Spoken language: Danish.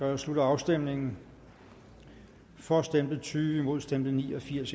jeg slutter afstemningen for stemte tyve imod stemte ni og firs